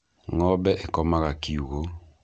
Ng'ombe ĩkomaga kiugũ.